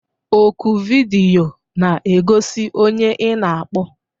Oku vidiyo na-egosi onye ị na-akpọ